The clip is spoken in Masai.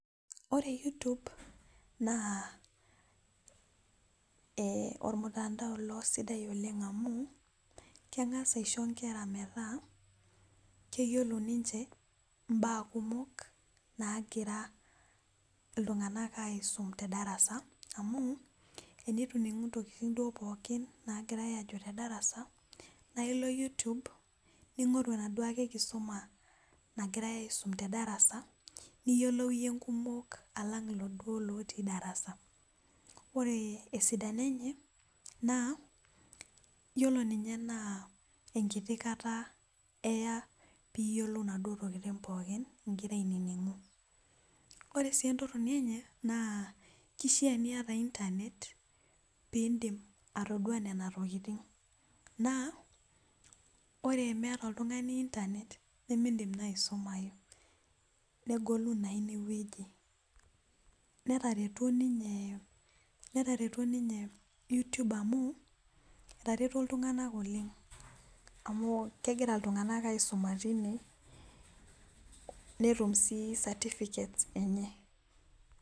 Ore youtube naa ormutandao ilo sidai oleng amu, kengas aisho nkera metaa keyiolo ninche mbaa kumok nagira iltunganak aisum tedarasa amu ,tenitu iningu ntokiting pookin duo naagirae ajo tedarasa ,naa ilo Youtube ningoru enaduo ake kisuma nagirae aisum tedarasa niyiolou iyie nkumok alang lelo duo otii darasa. ore esidano enye ,yiolo ninye naa enkiti kata eya pee iyiolou naduo tokiting pookin ingira aininingu .ore sii entoroni enye naa keishaa niyata intanet pee indim atodua nena tokiting ,naa ore miyata oltungani intanet nimidim naa aisumayu negolu naa ineweji. netareto ninye youtube amu etareto iltunganak oleng amu kegira iltunganak aisuma tine netum sii satifiket enye.